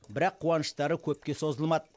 бірақ қуаныштары көпке созылмады